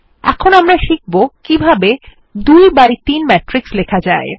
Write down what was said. এখন আমরা শিখব কিভাবে ২ বাই ৩ ম্যাট্রিক্স লেখা যায়